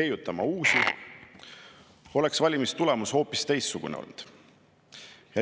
leiutama uusi, oleks valimistulemus olnud hoopis teistsugune.